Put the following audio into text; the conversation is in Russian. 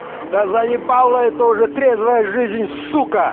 да заебала это уже трезвая жизнь сука